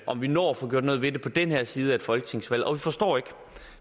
om vi når at få gjort noget ved det på den her side af et folketingsvalg og vi forstår ikke